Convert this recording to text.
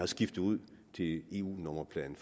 skiftet ud til eu nummerpladen